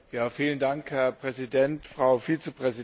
Herr Präsident, Frau Vizepräsidentin!